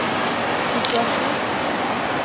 situasjon